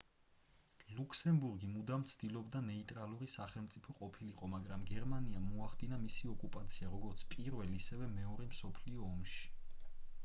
ლუქსემბურგი მუდამ ცდილობდა ნეიტრალური სახელმწიფო ყოფილიყო მაგრამ გერმანიამ მოახდინა მისი ოკუპაცია როგორც პირველ ისევე მეორე მსოფლიო ომში